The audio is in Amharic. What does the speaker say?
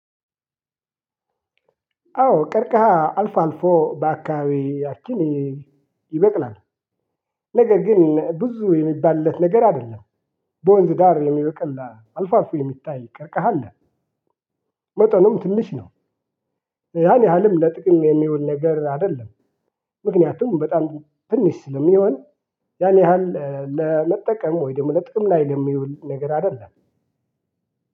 አዎ ቀርቀሃ አልፎ አልፎ በአካባቢያችን ይበቅላል። ነገር ግን ብዙ የሚባልለት ነገር አደለም። በወንዝ ዳር የሚበቅል አልፎ አልፎ የሚታይ ቀርቀሃ አለ። መጠኑም ትንሽ ነው። ያን ያህልም ለጥቅም የሚውል ነገር አይደለም። ምክንያቱም በጣም ትንሽ ስለሚሆን ያን ያህል ለመጠቀም ወይም ደግሞ ለጥቅም ላይ የሚውል ነገር አይደለም።